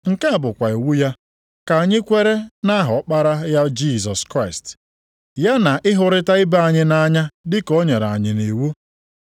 Nke a bụkwa iwu ya: ka anyị kwere nʼaha Ọkpara ya Jisọs Kraịst, ya na ịhụrịta ibe anyị nʼanya dịka o nyere anyị nʼiwu.